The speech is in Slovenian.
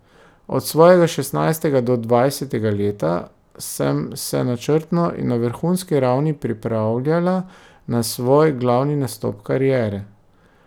Od svojega šestnajstega do dvajsetega leta sem se načrtno in na vrhunski ravni pripravljala na svoj glavni nastop kariere.